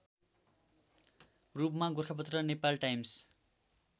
रूपमा गोरखापत्र नेपालटाइम्स